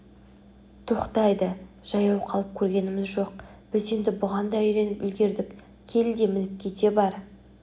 тоқтайды жаяу қалып көргеніміз жоқ біз енді бұған да үйреніп үлгердік кел де мініп кете бар